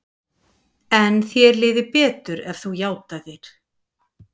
En þér liði betur ef þú játaðir.